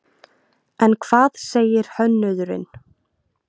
En hvað segir hönnuðurinn?